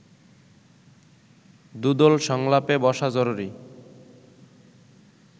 দুদল সংলাপে বসা জরুরি